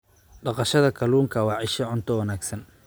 Dhaqashada kalluunka waa isha cunto wanaagsan.